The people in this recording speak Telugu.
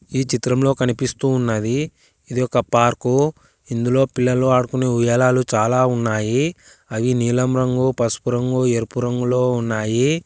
ఈ చిత్రంలో కనిపిస్తూ ఉన్నది ఇది ఒక పార్కు ఇందులో పిల్లలు ఆడుకునే ఉయ్యాలాలు చాలా ఉన్నాయి అవి నీలం రంగు పసుపు రంగు ఎరుపు రంగులో ఉన్నాయి.